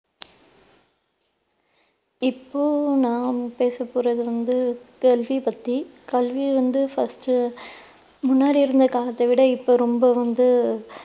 இப்போ நான் பேச போறது வந்து கல்வி பத்தி. கல்வி வந்து first உ முன்னாடி இருந்த காலத்தை விட இப்போ ரொம்ப வந்து